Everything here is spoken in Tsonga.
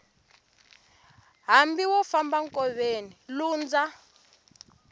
hambi wo famba enkoveni lundza